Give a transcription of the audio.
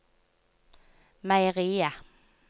meieriet